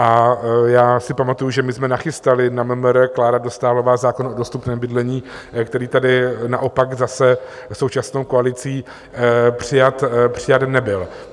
A já si pamatuji, že my jsme nachystali na MMR, Klára Dostálová, zákon o dostupném bydlení, který tady naopak zase současnou koalicí přijat nebyl.